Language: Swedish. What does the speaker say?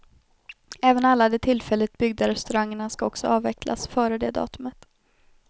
Även alla de tillfälligt byggda restaurangerna ska också avvecklas före det datumet.